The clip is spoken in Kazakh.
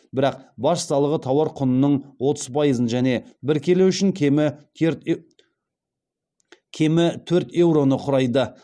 бірақ баж салығы тауар құнының отыз пайызын және бір келі үшін кемі төрт еуроны құрайды